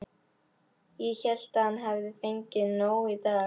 Ég hélt að hann hefði fengið nóg í dag.